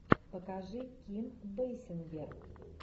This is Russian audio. покажи ким бейсингер